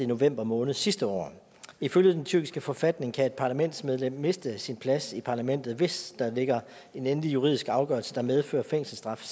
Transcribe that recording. november måned sidste år ifølge den tyrkiske forfatning kan et parlamentsmedlem miste sin plads i parlamentet hvis der ligger en endelig juridisk afgørelse der medfører fængselsstraf